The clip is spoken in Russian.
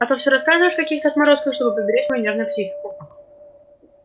а то все рассказываешь о каких-то отморозках чтобы поберечь мою нежную психику